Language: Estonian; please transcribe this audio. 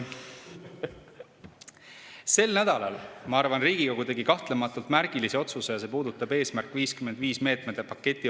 Sel nädalal, ma arvan, tegi Riigikogu kahtlemata märgilise otsuse, mis puudutab "Eesmärk 55" meetmete paketti.